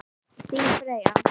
Þín Freyja.